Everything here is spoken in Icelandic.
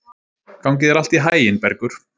Gangi þér allt í haginn, Bergur.